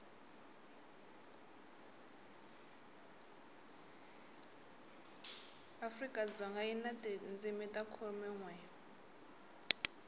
afrikadzoga yi na tindzimi ta khumenwe